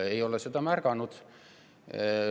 Ei ole seda märganud.